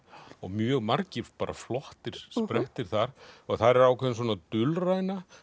og mjög margir flottir sprettir þar þar er ákveðin dulræna